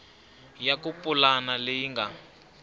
ya ku pulana leyi nga